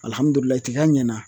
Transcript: Alihamudulilahi tiga ɲɛna